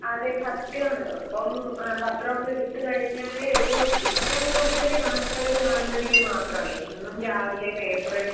അതെസത്യാണ്. ഇപ്പം എഹ് പത്രഒക്കെഎടുത്തുകഴിഞ്ഞാല് ഇപ്പം ഏറ്റവുംകൂടുതല് വാർത്തകള് കാണുന്നത്ഇതുമാത്രാണ്. എന്നുംരാവിലെ പേപ്പറെട്